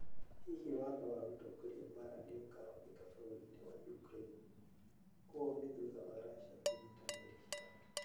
Hihi watho wa gũtongoria mbaara nĩ Ũkahũthĩka bũrũri-inĩ wa Ukraine.? Ũũ nĩ thutha wa Russia Kũnyiita meri ciao.